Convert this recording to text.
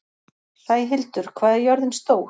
Sæhildur, hvað er jörðin stór?